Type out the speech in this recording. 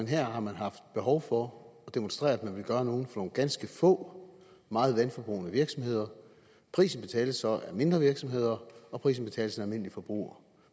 her har man haft behov for at demonstrere at man vil gøre noget nogle ganske få meget vandforbrugende virksomheder prisen betales så af mindre virksomheder og prisen betales af den almindelige forbruger